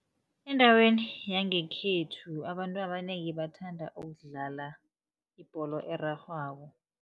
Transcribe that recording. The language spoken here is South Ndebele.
Endaweni yangekhethu abantu abanengi bathanda ukudlala ibholo erarhwako.